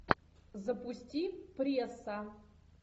запусти пресса